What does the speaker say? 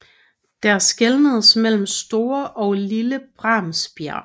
Der skelnedes mellem Store og Lille Bremsbjerg